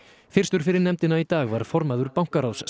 fyrstur fyrir nefndina í dag var formaður bankaráðsins